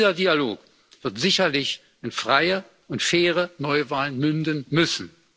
Und dieser Dialog wird sicherlich in freie und faire Neuwahlen münden müssen.